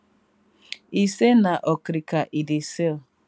e say na okrika e dey sell